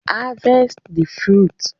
harvest the fruits